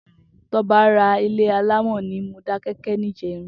Toba rà ilé àlámọ̀ ni Modakeke nijèrín